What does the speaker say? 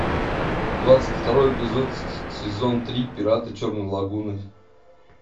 двадцать второй эпизод сезон три пираты черной лагуны